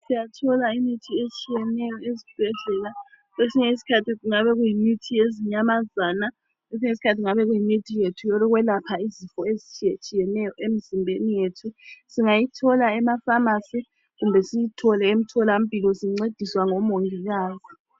Siyathola imithi etshiyeneyo esibhedlela. Kwesinye isikhathi kungabe kuyimithi yezinyamazana kumbe eyethu eyokwelapha izifo ezitshiyeneyo emzimbeni yethu. Singayithola emafamasi kumbe emtholampilo sincediswa ngomongikazi.